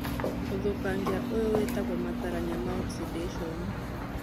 ũthũkangia ũyũ wĩtagwo matarania ma oxidation